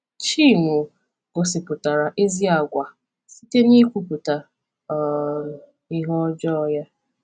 Chinwo gosipụtara ezi àgwà site n’ịkwupụta um ihe ọjọọ ya.